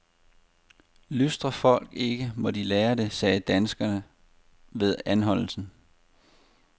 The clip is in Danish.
Lystrer folk ikke, må de lære det, sagde danskeren ved anholdelsen.